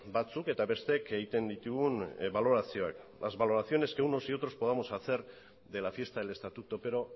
batzuk eta besteek egiten ditugun balorazioak las valoraciones que unos y otros podamos hacer de la fiesta del estatuto pero